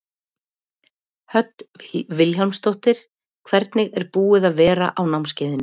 Hödd Vilhjálmsdóttir: Hvernig er búið að vera á námskeiðinu?